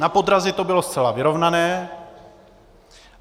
Na podrazy to bylo zcela vyrovnané.